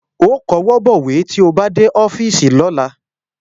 Ó kọwọ́ bọ̀wé tí ó bá dé ọ́fíìsì lọ́la